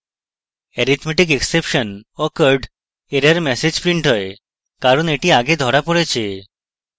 arithmetic exception occurred error message printed হয় কারণ এটি আগে ধরা পড়েছে